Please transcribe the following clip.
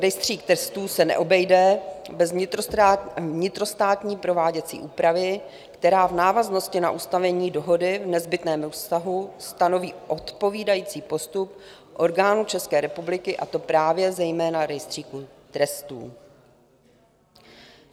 Rejstřík trestů se neobejde bez vnitrostátní prováděcí úpravy, která v návaznosti na ustanovení dohody v nezbytném vztahu stanoví odpovídající postup orgánů České republiky, a to právě zejména Rejstříku trestů.